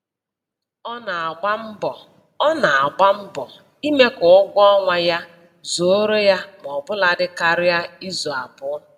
Ọ na-agba mbọ Ọ na-agba mbọ ime ka ụgwọ ọnwa ya zuoro ya maọbụladị karịa izu abụọ